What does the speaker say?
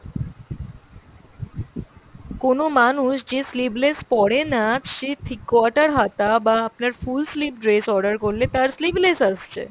কোনো মানুষ যে sleeveless পরেনা সে three quarter হাতা বা আপনার full sleeve dress order করলে তার sleeveless আসছে।